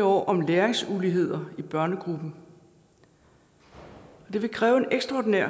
år om læringsuligheder i børnegruppen det vil kræve en ekstraordinær